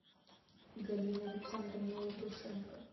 галина александровна лаврушенко